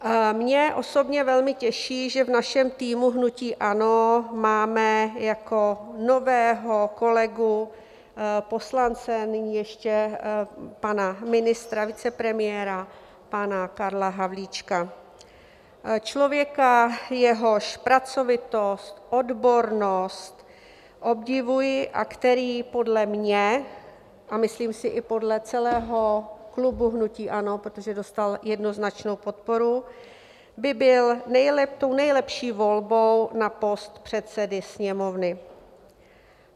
Mě osobně velmi těší, že v našem týmu hnutí ANO máme jako nového kolegu poslance, nyní ještě pana ministra, vicepremiéra pana Karla Havlíčka, člověka, jehož pracovitost, odbornost obdivuji a který podle mě - a myslím si, i podle celého klubu hnutí ANO, protože dostal jednoznačnou podporu - by byl tou nejlepší volbou na post předsedy Sněmovny.